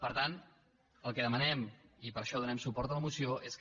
per tant el que demanem i per això donem suport a la moció és que